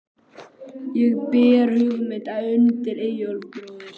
Ég bar hugmynd undir Eyjólf bróður.